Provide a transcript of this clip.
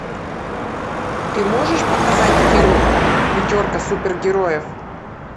ты можешь показать фильм пятерка супергероев